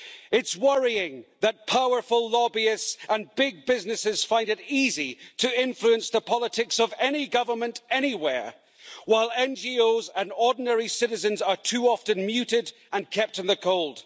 It's worrying that powerful lobbyists and big businesses find it easy to influence the politics of any government anywhere, while NGOs and ordinary citizens are too often muted and kept in the cold.